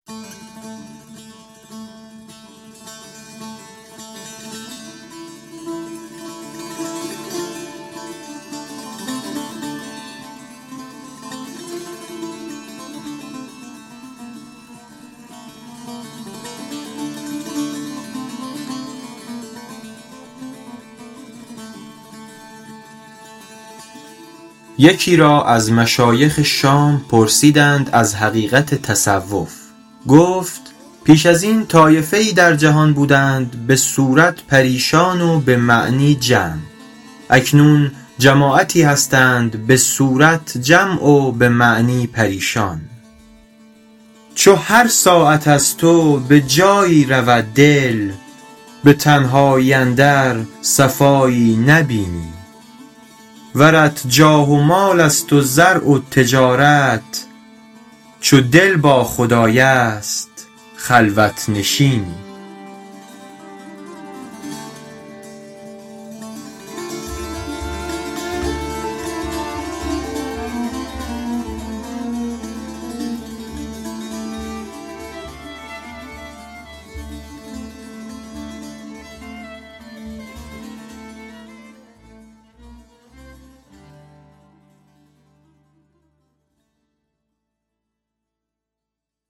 یکی را از مشایخ شام پرسیدند از حقیقت تصوف گفت پیش از این طایفه ای در جهان بودند به صورت پریشان و به معنی جمع اکنون جماعتی هستند به صورت جمع و به معنی پریشان چو هر ساعت از تو به جایی رود دل به تنهایی اندر صفایی نبینی ورت جاه و مال است و زرع و تجارت چو دل با خدای است خلوت نشینی